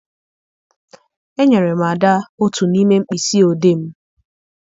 Enyere m Ada otu n'ime mkpịsị odee m.